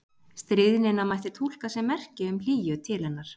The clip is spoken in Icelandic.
Stríðnina mætti túlka sem merki um hlýju til hennar.